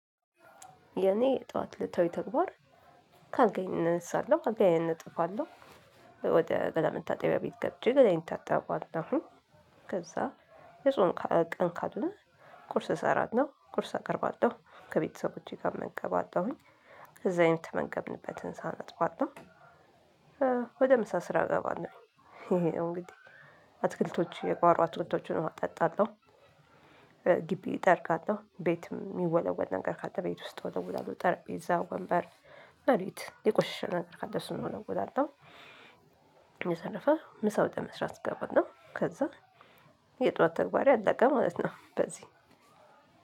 የኔ ጠዋት እለታዊ ተግባር ካልጋዬ እነሳለው አልጋዬን አነጥፋለሁ። ወደ ገላ መታጠቢያ ቤት ገብቼ ገላዬን እታጠባለሁኝ። ከዛ የጾም ቀን ካልሆነ። ቁርስ እሰራለው ቁርስ አቀርባለሁ ከቤተሰቦቼ ጋር እመገባለሁኝ። ከዛ የተመገብንበትን ሳህን አጥባለሁ። ወደ ምሳ ስራ ገባለው። እንግዲህ አትክልቶቹ የጓሮ አትክልቶችን አጠጣለሁ። ግቢ እጠርጋለሁ ቤትም የሚወለወል ነገር ካለ ቤት ውስጥ ወደ ወለውላለው ጠረጴዛ ወንበር መሬት የቆሸሸ ነገር ካለ እሱን ወለውላለው። በተረፈ ምሳ ወደ መስራት እገባለው። ከዛ የጧት ተግባሬ አለቀ ማለት ነው። በዚህ